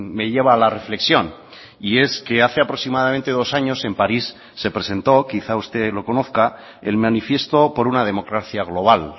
me lleva a la reflexión y es que hace aproximadamente dos años en parís se presentó quizá usted lo conozca el manifiesto por una democracia global